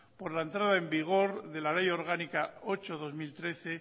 por la entrada en vigor de la ley orgánica ocho barra dos mil trece